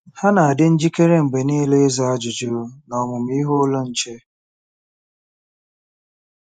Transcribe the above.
“Ha na-adị njikere mgbe nile ịza ajụjụ n’Ọmụmụ Ihe Ụlọ Nche.”